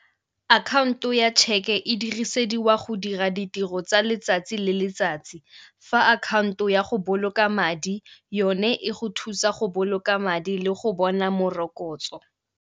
Akhaonto ya tšheke e dirisediwa go dira ditiro tsa letsatsi le letsatsi. Fa akhaonto ya go boloka madi yone e go thusa go boloka madi le go bona morokotso.